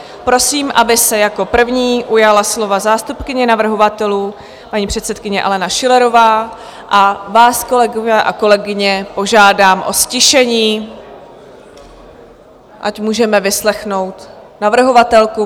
Prosím, aby se jako první ujala slova zástupkyně navrhovatelů, paní předsedkyně Alena Schillerová, a vás, kolegové a kolegyně, požádám o ztišení, ať můžeme vyslechnout navrhovatelku.